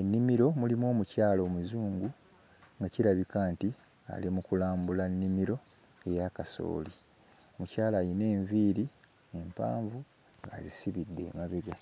Ennimiro mulimu omukyala Omuzungu nga kirabika nti ali mu kulambula nnimiro eya kasooli. Mukyala alina enviiri empanvu azisibidde emabega.